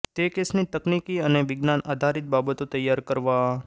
તે કેસની તકનિકી અને વિજ્ઞાન આધારિત બાબતો તૈયાર કરવા